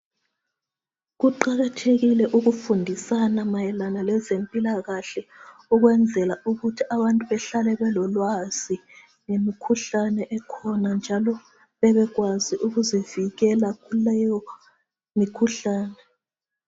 Kuqakathekile ukufundisana mayelana lezempilakahle ukwenzela ukuthi abantu behlale belolwazi ngemikhuhlane ekhona njalo bebekwazi ukuzivikela kuleyo imikhuhlane